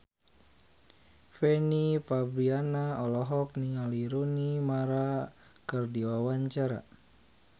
Fanny Fabriana olohok ningali Rooney Mara keur diwawancara